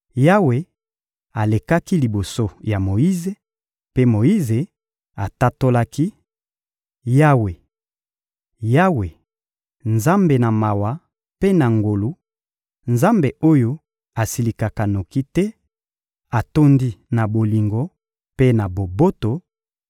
Yawe alekaki liboso ya Moyize, mpe Moyize atatolaki: — Yawe, Yawe, Nzambe na mawa mpe na ngolu, Nzambe oyo asilikaka noki te, atondi na bolingo mpe na boboto,